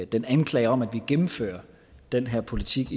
den anklage om at vi gennemfører den her politik